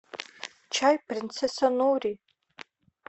чай принцесса нури